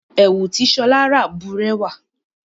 Ẹ̀wù tí Ṣọá rà bùrẹ́wà.